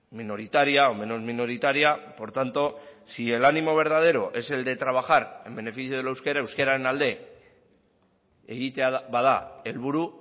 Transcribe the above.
minoritaria o menos minoritaria por tanto si el ánimo verdadero es el de trabajar en beneficio del euskera euskararen alde egitea bada helburu